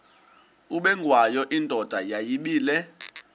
ubengwayo indoda yayibile